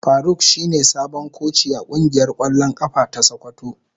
Faruk shine sabon koci a kungiyar kwallon kafa ta sokoto.